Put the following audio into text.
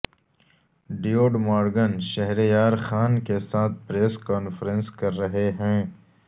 David Morgan Shahryar Khan کے ساتھ press conference کر رہے ہیں